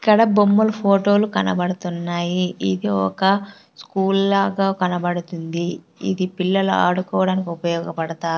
ఇక్కడ బొమ్మలు ఫోటోలు కనబడుతున్నాయి ఇది ఒక స్కూల్ లాగా కనబడుతుంది ఇది పిల్లలు ఆడుకోవడానికి ఉపయోగపడతా--